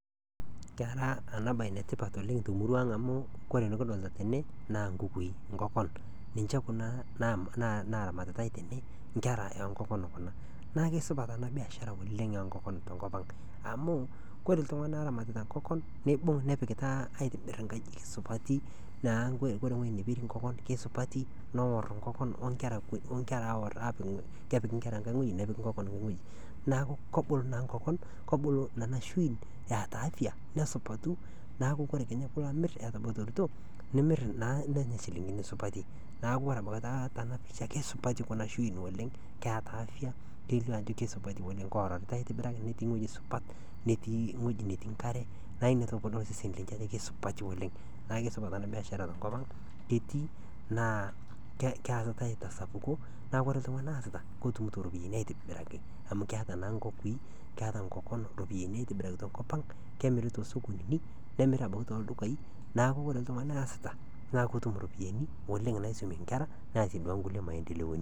Kera ena baye ene tipat oleng' te murua aang' amu kore enekidolta tene naa nkukui inkopan, ninche kuna na naramatitati tene inkera oo nkopan kuna. Naake supat ena biashara oleng' oo nkopan tenkop ang' amu kore iltung'anak ooramatita inkopan niibung' nepikita aitibir inkajijik supati naa kore ewuei nepir inkopan kesupati noor inkopan o nkera aawor aaku kepiki inkera enkae wuei nepiki inkopan enkae wuei. Naaku kobulu naa inkopan kobulu nana shuin eeta afya nesupatu naaku kore kenya piilo amir etaborito nimir naa nenya shiling'ini supati. Naaku kore ebakita tena pisha kesupati kuna shuin oleng' keeta afya iyiolou ajo kesupati oleng' kooton aitibiraki, netii ewueji supat, netii wueji netii nkare nae itodolu osesen lenye ajo kesupati oleng'. Naake supat ena biashara tenkop ang' ketii naa keetai te sapuko naa kore iltung'anak oasita kotumito iropaini aitobiraki amu keeta naa nkukui, keeta inkokon iropiani aitobiraki to nkop ang' kemiri too sukulini nemiri ebaiki tooldukai, naaku kore iltung'anak oaasita naa kotum iropiani oleng' naisomie inkera neasie naa nkulie maendeleoni.